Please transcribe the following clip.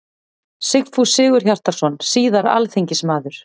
Sigfús Sigurhjartarson, síðar alþingismaður.